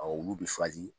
olu bɛ